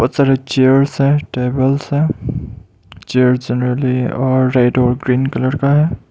Chairs हैं tables हैं chair generally और रेड और ग्रीन कलर का है।